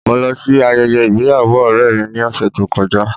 Mo lọ sí ayẹyẹ ìgbéyàwó ọ̀rẹ́ mi ní ọ̀sẹ̀ tó kọjá.